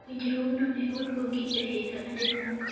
winjruogno ne oduogi e higni adek mokalo